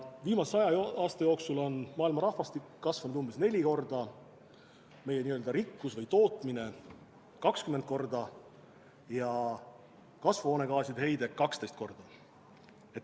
Viimase saja aasta jooksul on maailma rahvastik kasvanud umbes neli korda, meie n-ö rikkus või tootmine 20 korda ja kasvuhoonegaaside heide 12 korda.